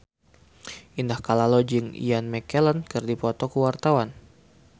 Indah Kalalo jeung Ian McKellen keur dipoto ku wartawan